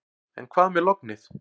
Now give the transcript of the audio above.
En hvað með lognið.